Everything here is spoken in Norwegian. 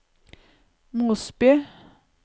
Mosby